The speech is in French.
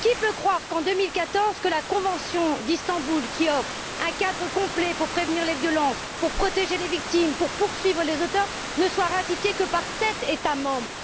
Qui peut croire qu'en 2014, la Convention d'Istanbul, qui offre un cadre complet pour prévenir les violences, pour protéger les victimes, pour poursuivre les auteurs, ne soit ratifiée que par sept États membres?